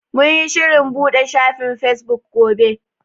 Mun yi shirin buɗe shafin fesbuk gobe.